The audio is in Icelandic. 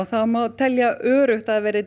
það má telja öruggt að það verði